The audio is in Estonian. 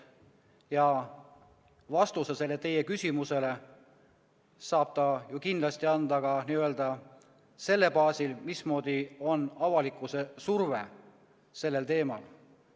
Ja vastuse teie küsimusele saab ta ju kindlasti anda ka selle baasil, milline on avalikkuse surve sellel teemal.